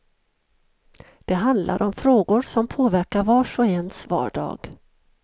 Det handlar om frågor som påverkar vars och ens vardag.